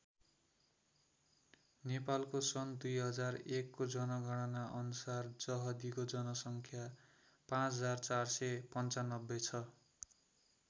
नेपालको सन् २००१ को जनगणना अनुसार जहदीको जनसङ्ख्या ५४९५ छ।